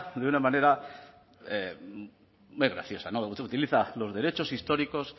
de una manera muy graciosa utiliza los derechos históricos